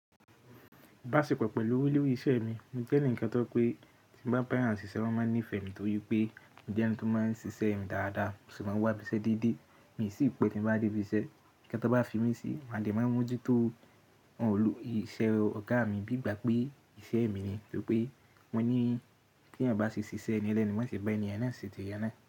Ìbáṣepọ̀ pẹ̀lú olórí iṣẹ́ mi, mo jẹ́ ẹnìkan tó jẹ́ pé tí mo bá bá èèyàn ṣiṣẹ́, wọn máa nífẹ̀ẹ́ mi tóri wípé mo jẹ́ ẹni tí ó máa ń ṣe iṣẹ́ mi dáadáa mo sì máa ń wá ibi iṣẹ́ déédé, mii sìi pẹ́ tí mo bá dé ibi iṣẹ́, ǹkan tí wọ́n bá fi mí sí, mo dẹ̀ máa ń mú ojú tó, wọn ò ìṣe ọ̀gá mi, bíi ìgbà pé ìṣe mi ni torí wípé wọ́n ní tí èèyàn bá ṣe ṣíṣe ẹni ẹlẹ́ni, wọ́n ṣe bá ènì yẹn náà ṣe ti ẹ náà.